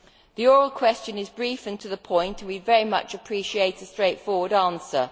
The oral question is brief and to the point, and we would very much appreciate a straightforward answer.